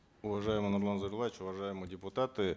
уважаемый нурлан зайроллаевич уважаемые депутаты